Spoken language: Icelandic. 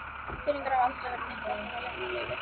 Peningar hafa aldrei verið neitt vandamál í hennar lífi.